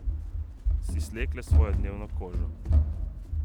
Si slekle svojo dnevno kožo.